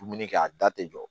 Dumuni kɛ a da tɛ jɔ